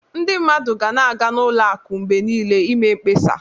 Ndị mmadụ ga na-aga n'ụlọ akụ mgbe niile i mee mkpesa.